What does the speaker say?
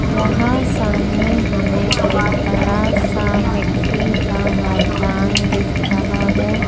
वहां सामने हमें एक बड़ा सा मिट्टी का मैदान दिख रहा है।